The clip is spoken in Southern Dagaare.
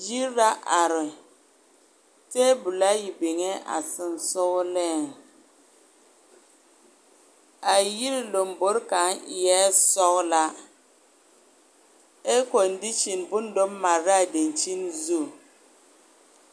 Yiri la are tabolaa yi biŋee a soŋsoŋlee a yiri lombori kaŋ ēē sɔglaa air kondiisiŋ boŋ to mare la a daŋkyiŋ zu.